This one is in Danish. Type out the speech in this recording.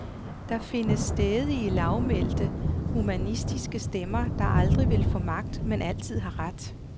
Der findes stædige, lavmælte, humanistiske stemmer, der aldrig vil få magt, men altid har ret.